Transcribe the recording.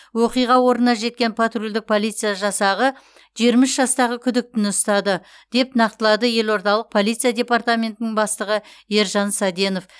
оқиға орнына жеткен патрульдік полиция жасағы жиырма үш жастағы күдіктіні ұстады деп нақтылады елордалық полиция департаментінің бастығы ержан саденов